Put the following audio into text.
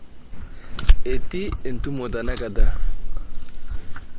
Etii entumo tenakata.